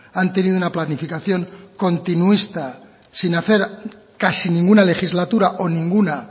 han tenido una planificación continuista sin hacer casi ninguna legislatura o ninguna